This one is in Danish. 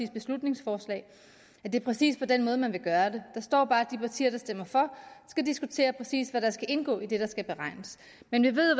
beslutningsforslag at det er præcis på den måde man vil gøre det der står bare at de partier der stemmer for skal diskutere præcis hvad der skal indgå i det der skal beregnes men vi ved